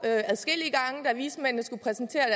da vismændene skulle præsentere